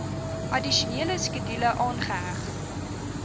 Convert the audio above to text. addisionele skedule aangeheg